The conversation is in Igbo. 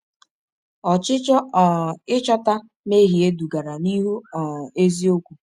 Ọchịchọ um ịchọta mmehie dugara n’ịhụ um eziokwu.